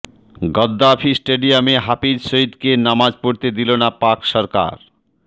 Gaddafi স্টেডিয়ামে হাফিজ সইদকে নমাজ পড়তে দিল না পাক সরকার